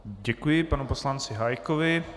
Děkuji panu poslanci Hájkovi.